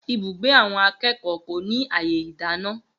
Ibùgbé àwọn akékòó kò ní àyè ìdáná